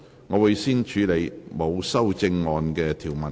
我會先處理沒有修正案的條文。